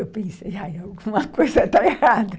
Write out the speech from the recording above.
Eu pensei, alguma coisa está errada.